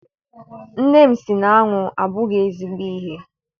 Nne m si na aṅụ abụghị ezigbo ihe.